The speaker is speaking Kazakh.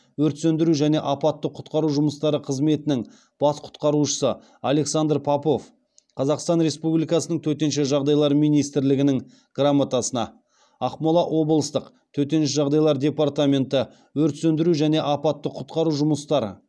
өрт сөндіру және апатты құтқару жұмыстары қызметінің бас құтқарушысы александр попов қазақстан республикасының төтенше жағдайлар министрлігінің грамотасына ақмола облыстық төтенше жағдайлар департаменті өрт сөндіру және апатты құтқару жұмыстары